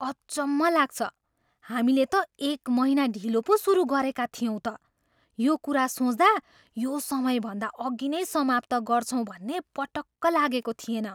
अचम्म लाग्छ! हामीले त एक महिना ढिलो पो सुरु गरेका थियौँ त। यो कुरा सोच्दा यो समयभन्दा अघि नै समाप्त गर्छौँ भन्ने पटक्क लागेको थिएन।